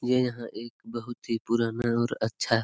ये यहां एक बहुत ही पुराना और अच्छा--